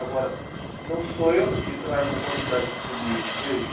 Agora, não sou eu que trago a qualidade para o livro, veja.